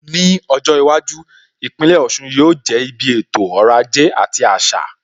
Ní ọjọ́ iwájú, Ìpínlẹ̀ Ọ̀sun yóò jẹ́ ibi ètò ọrọ̀ ajé àti àṣà.